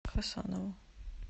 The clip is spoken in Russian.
хасанову